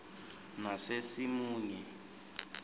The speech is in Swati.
nasesimunye